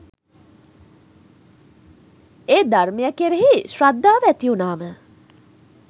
ඒ ධර්මය කෙරෙහි ශ්‍රද්ධාව ඇතිවුණාම